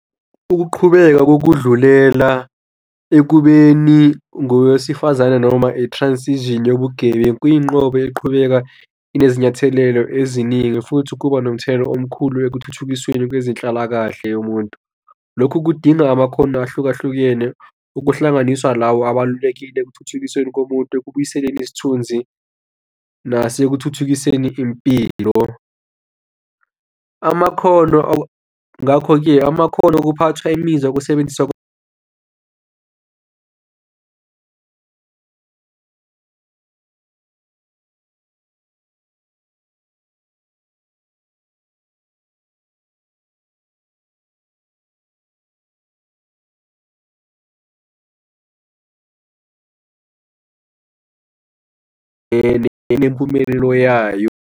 Ukuqhubeka kokudlulela ekubeni ngowesifazane noma i-transition yobu-gay, kuyinqobe eqhubeka kuzinyathelo eziningi futhi kuba nomthelelo omkhulu ekuthuthukisweni kwezenhlalakahle yomuntu. Lokhu kudinga amakhono ahlukahlukene ukuhlanganiswa lawo abalulekile ekuthuthukiseni komuntu ekubuyiseni isithunzi nasekuthuthukiseni impilo. Amakhono, ngakho-ke, amakhono okuphathwa imizwa, ukusebenziswa nempumelelo yayo.